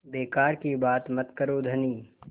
बेकार की बात मत करो धनी